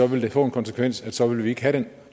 ville få den konsekvens at så ville vi ikke have den